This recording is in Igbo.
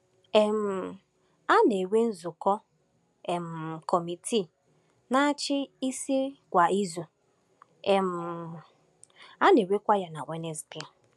um A na-enwe nzukọ um Kọmitii Na-achị Isi kwa izu, um a na-enwekwa ya na Wenesidee.